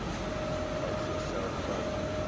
huise self bou